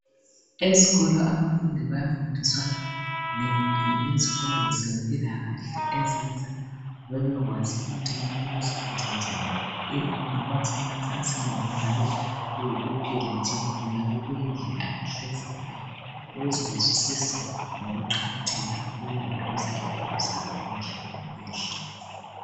Eskolo abafundi bayafundiswa ngezifundo zempilakahle ezenza bebekwazi ukuthi kumele baziphathe njani, kungaba semacansini kungaba sekuphileni nje kungabe kuyindlela abahlezi ngayo ukuze bazwisise ngokuqakatheka kokulondoloza impilo zabo imihla ngemihla